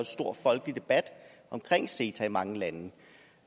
stor folkelig debat om ceta i mange lande